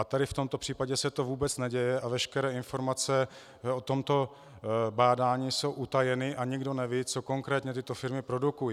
A tady v tomto případě se to vůbec neděje a veškeré informace o tomto bádání jsou utajeny a nikdo neví, co konkrétně tyto firmy produkují.